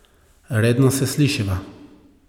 Redno se slišiva.